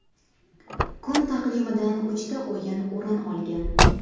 Kun taqvimidan uchta o‘yin o‘rin olgan.